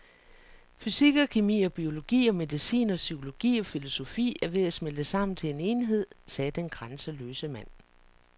Fysik og kemi og biologi og medicin og psykologi og filosofi er ved at smelte sammen til en enhed, sagde den grænseløse mand.